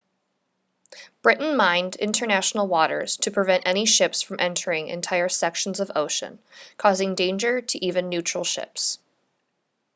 britain mined international waters to prevent any ships from entering entire sections of ocean causing danger to even neutral ships